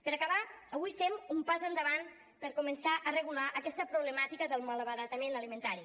per acabar avui fem un pas endavant per començar a regular aquesta problemàtica del malbaratament alimentari